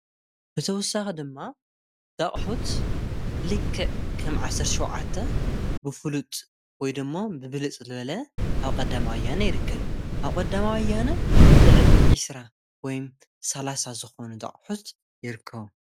ብተውሳኺ ድማ ዳኣቕሑት ልክዕከም ዓሠር ሸዉዓተ ብፍሉጥ ወይ ድሞ ብብልጽ ልበለ ኣብ ቐዳማይወያነ ይርከብ ኣብ ቐዳማይወያነ ልዕሊ ዒስራ ወይ ሳላሳ ዝኾኑ ዳኣቕሑት የርከቡ